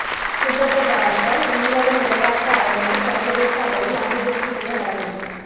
சுகததாச உள்ளக விளையாட்டு அரங்கினை சர்வதேச அளவில் அபிவிருத்தி செய்ய நடவடிக்கை